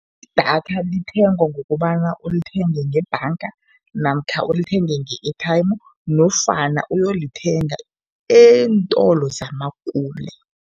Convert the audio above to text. Idatha lithengwa ngokobana ulithenge ngebhanga namkha ulithenge nge-airtime nofana uyolithenga eentolo zamakule.